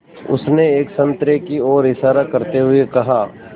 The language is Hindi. उसने एक संतरे की ओर इशारा करते हुए कहा